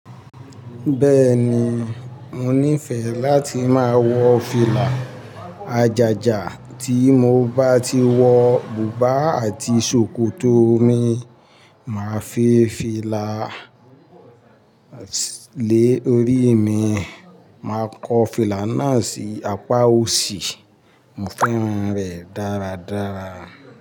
Bẹ́ẹ̀ni, mo nífẹ̀ẹ́ láti máa wọ fìlà àjàjà tí mo bá ti wọ bùbá àti ṣòkòtò mi, máa fi fìlà lé orí mi, máa kọ́ fìlà náà sí apá òsì, mo fẹ́ràn rẹ̀ dáradára.